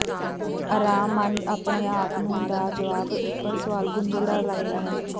ਅਰਾਮ ਮਨ ਆਪਣੇ ਆਪ ਨੂੰ ਦਾ ਜਵਾਬ ਉਪਰ ਸਵਾਲ ਗੁੰਝਲਦਾਰ ਲੱਗਦਾ ਹੈ